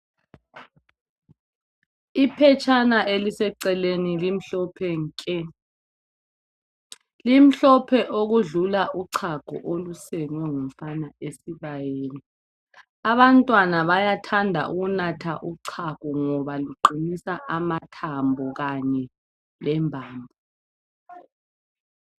Iphetshana elise celeni limhlophe nke limhlophe ukwedlula uchago olusengwe ngumfana esibayeni abantwana bayathanda ukunatha uchago ngoba luqinisa amathambo kanye lembambo.